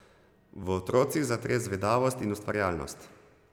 V otrocih zatre zvedavost in ustvarjalnost ...